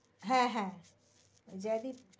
হ্যা হ্যা